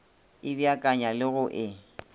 e beakanya le go e